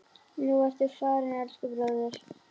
Nú ertu farinn, elsku bróðir.